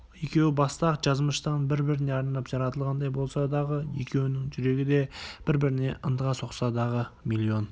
екеуі баста-ақ жазмыштан бір-біріне арнап жаратылғандай болса дағы екеуінің жүрегі де бір-біріне ынтыға соқса дағы миллион